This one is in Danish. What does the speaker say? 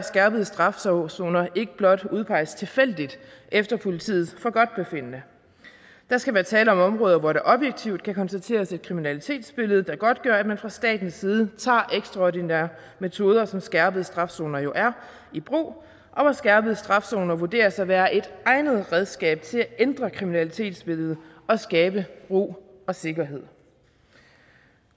skærpet straf zoner zoner ikke blot udpeges tilfældigt efter politiets forgodtbefindende der skal være tale om områder hvor der objektivt kan konstateres et kriminalitetsbillede der godtgør at man fra statens side tager ekstraordinære metoder som skærpet straf zoner jo er i brug og hvor skærpet straf zoner vurderes at være et egnet redskab til at ændre kriminalitetsbilledet og skabe ro og sikkerhed